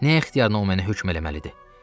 Nəyə ixtiyarıma o mənə hökm eləməlidir?